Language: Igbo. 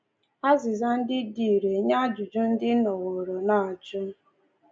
Azịza ndị dị irè nye ajụjụ ndị ị nọworo na-ajụ!